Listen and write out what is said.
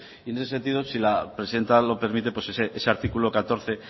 en ese sentido si la presidenta lo permite pues ese artículo catorce